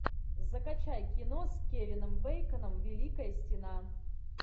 закачай кино с кевином бейконом великая стена